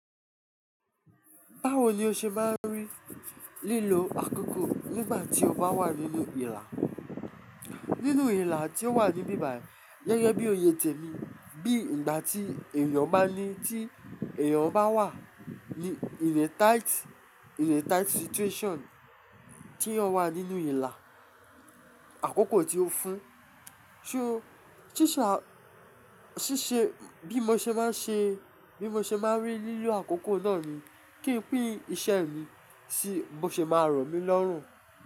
Báwo ni o ṣe máa ń rí lílo àkókò nígbà tí o bá wà nínú ìlà? Nínú ìlà tí ó wà ní bíbàì, gẹ́gẹ́ bí o ye jẹ mí, bí ìgbà tí èèyàn bá ní tí èèyàn bá wà in a tight, in a tight situation, tí èèyàn wà nínú ìlà, àkókò tí ó fún, so ṣíṣe a ṣíṣe bí mo ṣe máa ń ṣe, bí mo ṣe máa ń rí lílo àkókò náà ni kí n pín iṣẹ́ mi si mo ṣe máa rọ mi lọrun.